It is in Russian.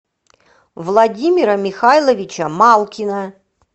владимира михайловича малкина